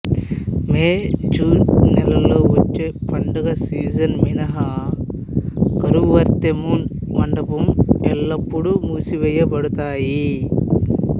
May June నెలలో వచ్చే పండుగ సీజన్ మినహా కరువరై మున్ మండపం ఎల్లప్పుడూ మూసివేయబడతాయి